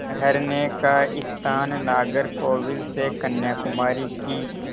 ठहरने का स्थान नागरकोविल से कन्याकुमारी की